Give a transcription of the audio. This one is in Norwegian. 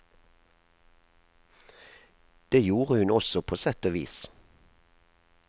Det gjorde hun også på sett og vis.